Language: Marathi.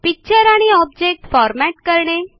पिक्चर आणि ऑब्जेक्ट फॉरमॅट करणे